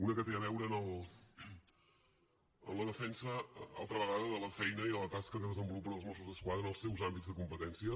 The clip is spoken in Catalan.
una que té a veure amb la defensa altra vegada de la feina i de la tasca que desenvolupen els mossos d’esquadra en els seus àmbits de competència